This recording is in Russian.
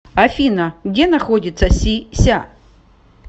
афина где находится си ся